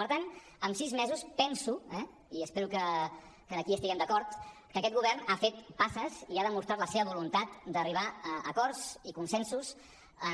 per tant en sis mesos penso i espero que aquí hi estiguem d’acord que aquest govern ha fet passes i ha demostrat la seva voluntat d’arribar a acords i consensos